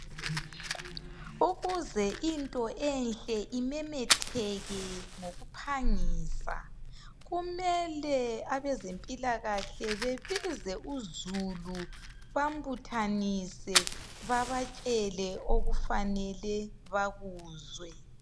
Ukuze into enhle imemetheke ngokuphangisa . Kumele abezempilakahle bebize uzulu bambuthanise babatshele okufanele bakuzwe